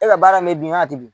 E ka baara in mɛ bin wa a tɛ bin?